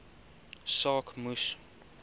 saak moes